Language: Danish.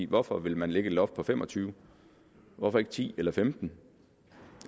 hvorfor vil man lægge et loft på 25 hvorfor ikke ti eller 15